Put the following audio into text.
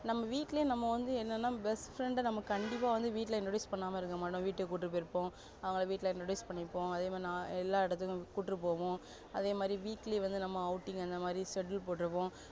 நம்ம வீட்டுலே நம்ம வந்து என்னனா best friend ட வந்து கண்டிப்பா நாம introduce பண்ணாம இருக்க மாட்டோம் வீட்டுக்கு கூட்டிட்டு போய் இருப்போம் அவங்கள வீட்டுல introduce பன்னிருப்போம் அதே மாதிரி எல்லா இடத்துக்கும் கூட்டிட்டு போவோம் அதே மாதிரி weekly நாம outing அந்த மாதிரி settle போட்டு இருப்போம்